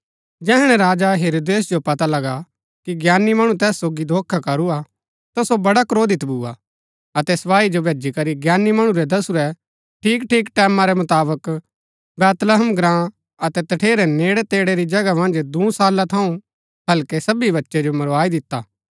जैहणै राजा हेरोदेस जो पता लगा कि ज्ञानी मणु तैस सोगी धोखा करूआ ता सो बड्डा क्रोधित भुआ अतै सपाई जो भैजी करी ज्ञानी मणु रै दसुरै ठीकठीक टैमां रै मुताबक बैतहलम ग्राँ अतै तठेरै नेड़ै तेड़ै री जगह मन्ज दूँ साला थऊँ हल्कै सबी बच्चै जो मरवाई दिता